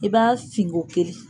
I b'a fin ko kelen.